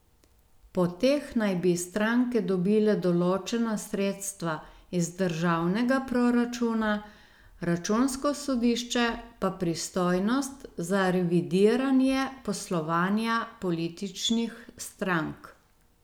Po teh naj bi stranke dobile določena sredstva iz državnega proračuna, računsko sodišče pa pristojnost za revidiranje poslovanja političnih strank.